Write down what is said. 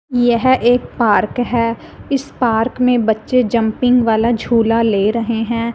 यह एक पार्क है इस पार्क में बच्चे जंपिंग वाला झूला ले रहे हैं।